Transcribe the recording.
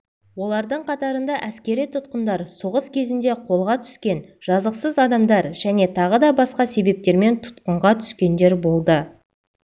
олардың қатарында әскери тұтқындар соғыс кезінде қолға түскен жазықсыз адамдар және тағы да басқа себептермен тұтқынға түскендер болды